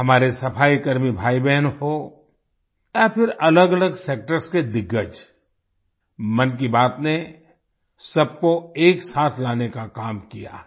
हमारे सफाईकर्मी भाईबहन हों या फिर अलगअलग सेक्टर्स के दिग्गज मन की बात ने सबको एक साथ लाने का काम किया है